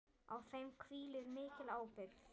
Á þeim hvílir mikil ábyrgð.